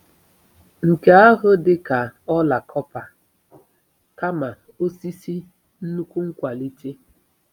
Nke ahụ dị ka "ọla kọpa" kama "osisi" - nnukwu nkwalite!